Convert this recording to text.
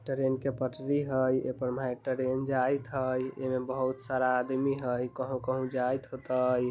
ट्रेन के पटरी हई ए पर महे ट्रेन जाइत हई | एमे बहुत सारा आदमी हई कहूं कहूं जाइत हो तई |